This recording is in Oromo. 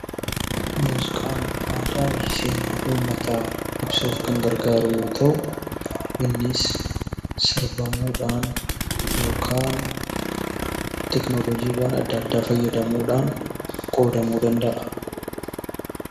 Muuziqaan aadaa fi seenaa uummataa ibsuuf kan gargaaru yoo ta'u, innis sirbamuudhaan yookaan teekinooloojii garaagaraa fayyadamuudhaan qoodamuu danda'a.